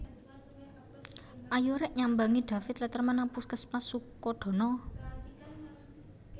Ayo rek nyambangi David Letterman nang puskesmas Sukodono